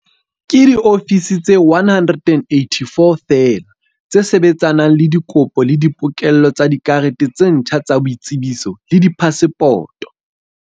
Ke diofisi tse 184 feela tse sebetsanang le dikopo le di pokello tsa dikarete tse ntjha tsa boitsebiso le diphasepoto.